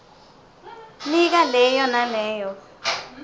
nika leyo naleyo